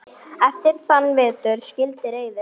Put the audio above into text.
Eftir þann vetur skildi leiðir.